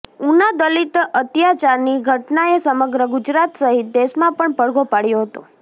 ઉના દલિત અત્યાચારની ઘટનાએ સમગ્ર ગુજરાત સહિત દેશમાં પણ પડઘો પાડ્યો હતો